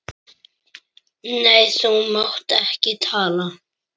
Nei, þú mátt ekki tala.